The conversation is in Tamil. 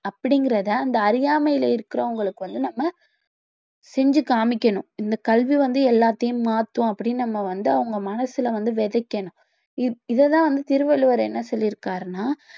அப்படிங்கிறத அந்த அறியாமையில இருக்கிறவங்களுக்கு வந்து நாம செஞ்சு காமிக்கணும் இந்த கல்வி வந்து எல்லாத்தையும் மாத்தும் அப்படின்னு நம்ம வந்து அவங்க மனசுல வந்து விதைக்கணும் இ~ இத தான் வந்து திருவள்ளுவர் என்ன சொல்லி இருக்கிறாருன்னா